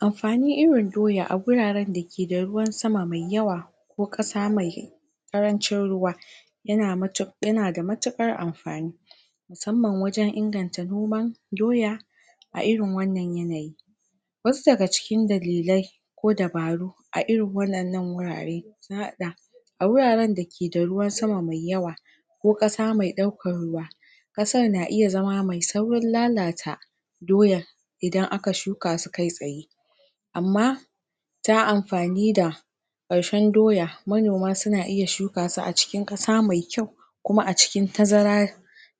Amfanin irin doya a guraren da keda ruwan sama mai yawa ko ƙasa mai ƙarancin ruwa. yana mutuƙar yanada matuƙar amfani musamman wajen inganta noman doya a irin wannan yanayi. Wasu daga cikin dalilai ko dabaru a irin waɗannan wurare sun haɗa a wuraren dake da ruwan sama mai yawa ko ƙasa mai ɗaukan ruwa ƙasar na iya zama mai saurin lalata doya idan aka shuka su kai tsaye amma ta amfani da ƙarshen doya manoma suna iya shukasu a cikin ƙasa mai kyau kuma a cikin tazara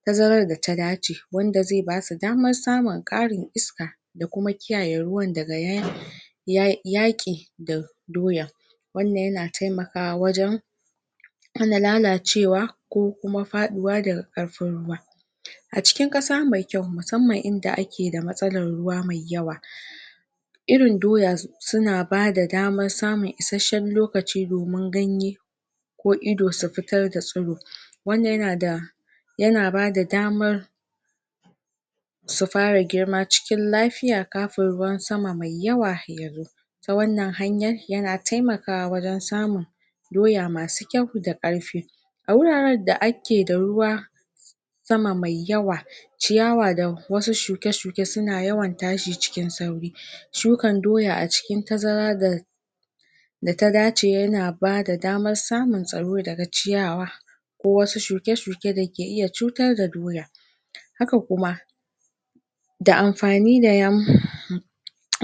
tazarar data dace wanda zai basu daman samun ƙarin iska da kuma kiyaye ruwan daga ya yaƙi da doya wannan yana taimakawa wajen hana lalacewa ko kuma faɗuwa daga ƙarfin ruwa. A cikin ƙasa mai kyau musamman inda akeda matsalan ruwa mai yawa irin doya suna bada daman samun isasshen lokaci domin ganye ko ido su fitar da tsiro wannan yanada yana bada damar su fara girma cikin lafiya kafin ruwan sama mai yawa yazo ta wannan hanyar yana taimakawa wajen samun doya masu kyau da ƙarfi a wuraren da akeda ruwan sama mai yawa ciyawa da wasu shuke-shuke suna yawan tashi cikin sauri shukan doya a cikin tazara ga da ta dace yana bada daman samun tsaro daga ciyawa ko wasu shuke-shuke dake iya cutar da doya haka kuma da amfani da yan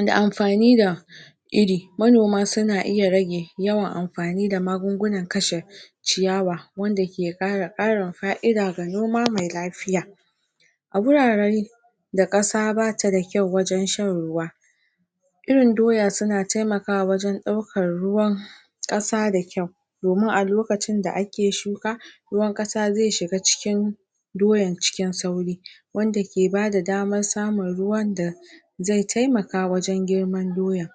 da amfani da iri. Manoma suna iya rage yawan amfani da magungunan kashe ciyawa wanda ke ƙara ƙarin fa'ida ga noma mai lafiya a gurare da ƙasa bata da kyau wajen shan ruwa irin doya suna taimakawa wajen ɗaukan ruwan ƙasa da kyau. domin a lokacin da ake shuka ruwan ƙasa zai shiga cikin doyan cikin sauri wanda ke bada daman samun ruwan da zai taimaka wajen girman doya.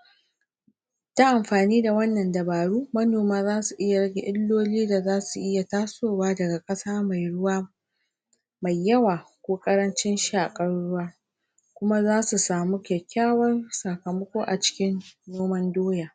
ta amfani da wannan dabaru manoma zasu iya rage illoli da zasu iya tasowa daga ƙasa mai ruwa mai yawa ko ƙarancin shaƙan ruwa. kuma zasu samu kyakkyawan sakamako a cikin noman doya.